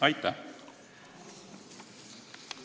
Aitäh!